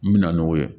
N bɛ na n'o ye